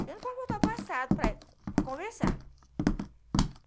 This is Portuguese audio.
Eu não posso voltar o passado para conversar.